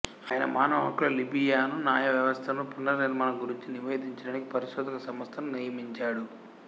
ఆయన మానవ హక్కులు లిబియను న్యాయ వ్యవస్థను పునర్నిర్మాణం గురించి నివేదించడానికి పరిశోధక సంస్థను నియమించాడు